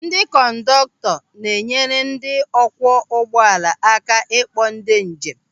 Ndị kọndọktọ na-enyere ndị ọ kwụọ ụgbọala aka ịkpọ ndị njem.